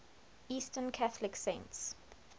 eastern catholic saints